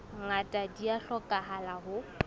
ngata di a hlokahala ho